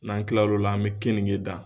N'an kila lo la an bɛ kenike dan.